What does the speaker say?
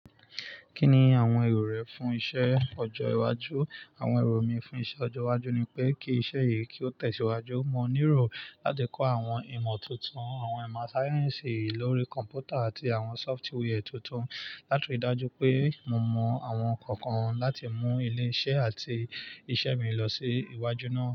Kí ni àwọn èrò rẹ fún iṣẹ́ ọjọ́ iwájú? Àwọn èrò mi fún iṣẹ́ ọjọ́ iwájú ni pé kí iṣẹ́ yìí kí ó tẹ̀síwájú, mo níro láti kọ́ àwọn ìmọ̀ tuntun, àwọn ìmọ̀ sáyẹ́nsì lórí kọ̀m̀pútà àti àwọn sọfutiwẹẹ tuntun. Látòrí dájú pé mo mọ àwọn kọ̀ọ̀kan láti mú ilé-iṣẹ́ àti iṣẹ́ mi lọ sí iwájú náà.